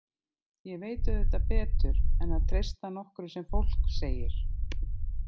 Ég veit auðvitað betur en að treysta nokkru sem fólk segir.